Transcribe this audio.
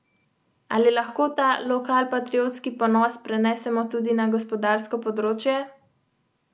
Skupaj sedita na motorju s stransko prikolico.